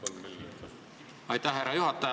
Aitäh, härra juhataja!